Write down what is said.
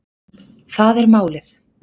Það er málið